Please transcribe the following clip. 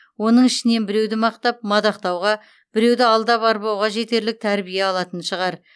оның ішінен біреуді мақтап мадақтауға біреуді алдап арбауға жетерлік тәрбие алатын шығар